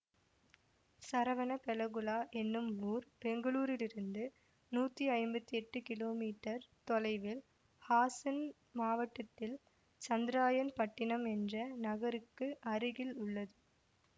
சரவணபெலகுளா என்னும் ஊர் பெங்களூரிலிருந்து நூத்தி ஐம்பத்தி எட்டு கிலோமீட்டர் தொலைவில் ஹாசன் மாவட்டத்தில் சந்திரராயன் பட்டினம் என்ற நகருக்கு அருகில் உள்ளது